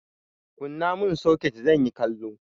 Kunna mun soket!zanyi kallo.